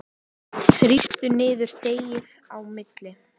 Þrýstu niður deigið á milli.